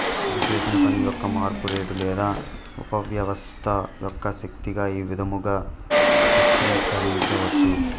ఇది చేసిన పని యొక్క మార్పు రేటు లేదా ఉపవ్యవస్థ యొక్క శక్తిగా ఈ విధముగా సూత్రీకరించవచ్చు